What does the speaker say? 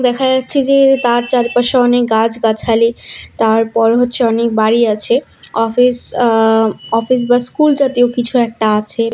দেখা যাচ্ছে যে তার চারিপাশে অনেক গাছ গাছালি তারপর হচ্ছে অনেক বাড়ি আছে অফিস আ অফিস বা স্কুল জাতীয় কিছু একটা আছে।